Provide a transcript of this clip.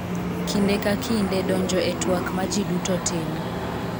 Kinde ka kinde, donjo e twak ma ji duto timo,